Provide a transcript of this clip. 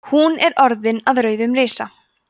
hún er orðin að rauðum risa